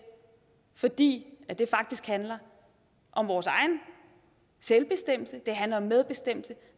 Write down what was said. fordi det faktisk handler om vores egen selvbestemmelse det handler om medbestemmelse